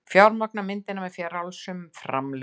Fjármagna myndina með frjálsum framlögum